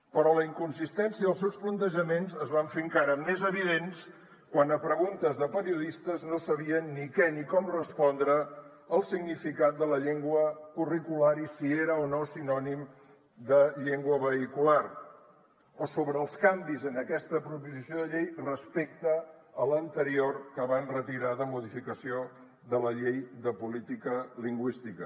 però la inconsistència dels seus plantejaments es va fer encara més evident quan a preguntes de periodistes no sabien ni què ni com respondre el significat de la llengua curricular i si era o no sinònim de llengua vehicular o sobre els canvis en aquesta proposició de llei respecte a l’anterior que van retirar de modificació de la llei de política lingüística